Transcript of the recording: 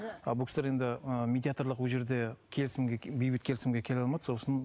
ал бұл кісілер енді ы медиатрлық ол жерде келісімге бейбіт келісімге келе алмады сосын